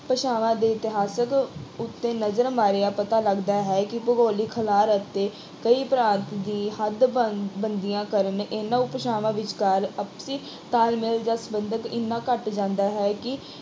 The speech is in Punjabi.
ਭਾਸ਼ਾਵਾਂ ਦੇ ਇਤਿਹਾਸਕ ਉੱਤੇ ਨਜ਼ਰ ਮਾਰਿਆਂ ਪਤਾ ਲੱਗਦਾ ਹੈ ਕਿ ਭੁਗੋਲਿਕ ਖਿਲਾਰ ਅਤੇ ਕਈ ਭ੍ਰਾਂਤ ਦੀ ਹੱਦਬੰਦ- ਬੰਦੀਆਂ ਕਾਰਨ, ਇਹਨਾਂ ਉਪ ਭਾਸ਼ਾਵਾਂ ਵਿਚਕਾਰ ਆਪਸੀ ਤਾਲਮੇਲ ਜਾਂ ਸੰਬੰਧਕ ਐਨਾ ਘੱਟ ਜਾਂਦਾ ਹੈ ਕਿ